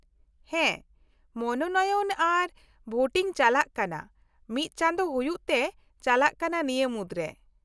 ᱦᱮᱸ , ᱢᱚᱱᱳᱱᱚᱭᱚᱱ ᱟᱨ ᱵᱷᱳᱴᱤᱝ ᱪᱟᱞᱟᱜ ᱠᱟᱱᱟ ᱢᱤᱫ ᱪᱟᱸᱫᱳ ᱦᱩᱭᱩᱜ ᱛᱮ ᱪᱟᱞᱟᱜ ᱠᱟᱱᱟ ᱱᱤᱭᱟ. ᱢᱩᱫᱨᱮ ᱾